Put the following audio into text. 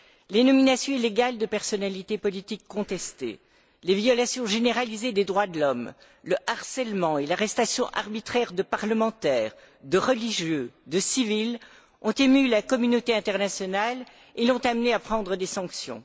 Les nominations illégales de personnalités politiques contestées, les violations généralisées des droits de l'homme, le harcèlement et l'arrestation arbitraire de parlementaires, de religieux, de civils ont ému la communauté internationale et l'ont amenée à prendre des sanctions.